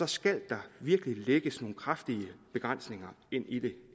skal der virkelig lægges nogle kraftige begrænsninger ind i det